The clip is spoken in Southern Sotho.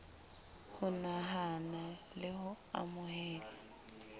ho nahana le ho amohela